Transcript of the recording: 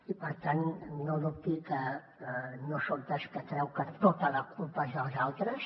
i per tant no dubti que no soc dels que creu que tota la culpa és dels altres